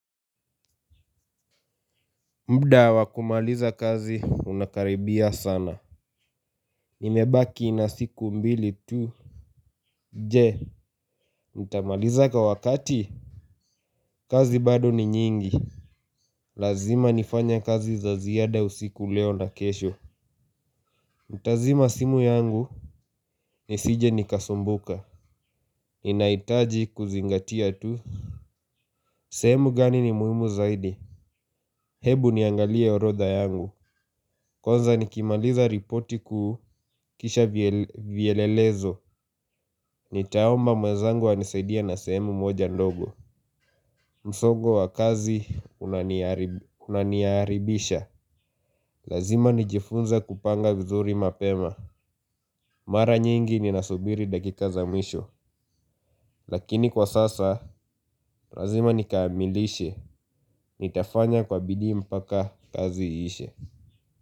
Mda wa kumaliza kazi unakaribia sana. Imebaki na siku mbili tu. Je, nitamaliza kwa wakati? Kazi bado ni nyingi. Lazima nifanye kazi za ziada usiku leo na kesho nitazima simu yangu. Nisije nikasumbuka ninahitaji kuzingatia tu. Sehemu gani ni muhimu zaidi? Hebu niangalie orodha yangu. Kwanza nikimaliza ripoti kuu kisha vielelezo. Nitaomba mwenzangu anisaidie na sehemu moja ndogo msogo wa kazi unaniharibisha. Lazima nijifunze kupanga vizuri mapema. Mara nyingi ninasubiri dakika za mwisho lakini kwa sasa, lazima nikaamilishe. Nitafanya kwa bidii mpaka kazi iishe.